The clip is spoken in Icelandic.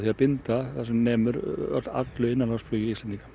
að binda sem nemur öllu innanlandsflugi Íslendinga